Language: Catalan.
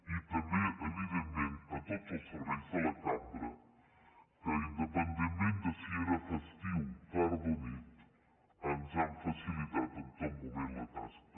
i també evidentment a tots els serveis de la cambra que independentment de si era festiu tarda o nit ens han facilitat en tot moment la tasca